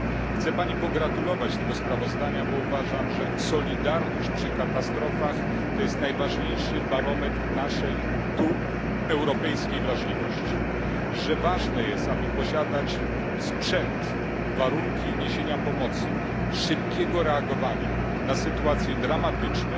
Chcę Pani pogratulować tego sprawozdania, bo uważam, że solidarność przy katastrofach to najważniejszy barometr naszej europejskiej wrażliwości, oraz że ważne jest, aby posiadać sprzęt i mieć warunki niesienia pomocy oraz szybkiego reagowania na sytuacje dramatyczne,